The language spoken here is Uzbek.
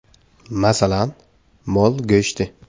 Masalan, mol go‘shti.